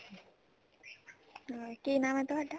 ਕੀ ਨਾਮ ਹੈ ਤੁਹਾਡਾ